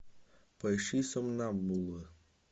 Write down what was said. поищи сомнамбула